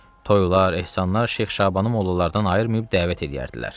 Toylar, ehsanlar Şeyx Şabanı mollalardan ayırmayıb dəvət eləyərdilər.